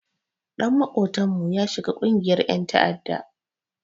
Ɗan maƙotanmu ya shiga ƙungiyar ƴan ta'adda.